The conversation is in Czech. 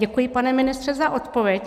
Děkuji, pane ministře, za odpověď.